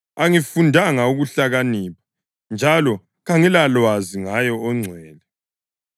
Angikufundanga ukuhlakanipha njalo kangilalwazi ngaye oNgcwele.